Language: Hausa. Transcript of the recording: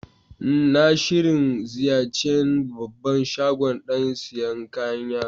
N'na shirin ziyace'n babban shagon dan siyan kayan yaro.